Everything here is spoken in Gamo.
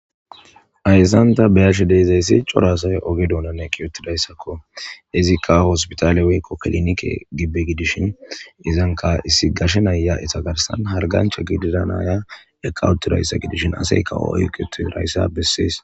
Ayssanta beyashe deezayssi corasay oge duunane kiyotidayssakko izikka hospitaale wekko kelinike gibbe gidishin izanka issi gashe nayya isa garsan hargancha gididanaya eqawuttu rayssa gidishin aseykawo oyquti rayssa bessees.